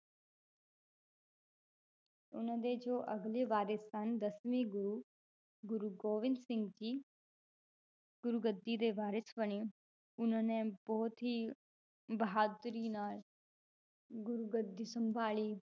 ਉਹਨਾਂ ਦੇ ਜੋ ਅਗਲੇ ਵਾਰਿਸ਼ ਸਨ ਦਸਵੇਂ ਗੁਰੂ ਗੁਰੂ ਗੋਬਿੰਦ ਸਿੰਘ ਜੀ ਗੁਰੂਗੱਦੀ ਦੇ ਵਾਰਿਸ਼ ਬਣੇ ਉਹਨਾਂ ਨੇ ਬਹੁਤ ਹੀ ਬਹਾਦਰੀ ਨਾਲ ਗੁਰੂਗੱਦੀ ਸੰਭਾਲੀ